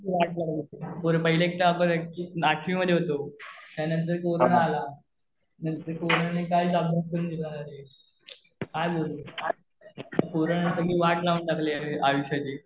हा hello corona मध्ये कसली वाट लागली. पहिले एक तर आपण आठवी मध्ये होतो, त्यानंतर कोरोना आला. नंतर कोरोना ने काहीच अभ्यास नाही करू दिला रे. काय बोलू? कोरोना ने सगळी वाट लावून टाकली आयुष्याची.